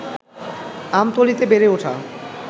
আমতলীতে বেড়ে ওঠা